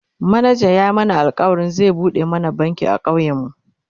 manajan ya mana alkawalin zai buɗe mana banki a ƙauyen mu